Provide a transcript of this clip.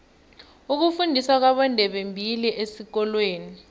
ukufundiswa kwabondebembili esikolweni